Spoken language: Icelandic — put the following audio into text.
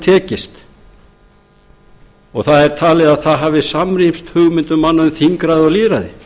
tekist talið er að það hafi samrýmst hugmyndum manna um þingræði og lýðræði